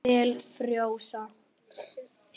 Svell frjósa.